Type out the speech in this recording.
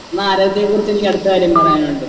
എന്നാ ആരോഗ്യത്തിനെ കുറിച്ചെനിക്ക് അടുത്ത കാര്യം പറയാനുണ്ട്